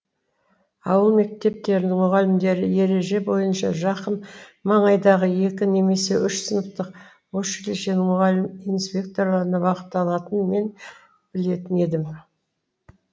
ауыл мектептерінің мұғалімдері ереже бойынша жақын маңайдағы екі немесе үш сыныптық училищенің мұғалім инспекторына бағытталатынын мен білетін едім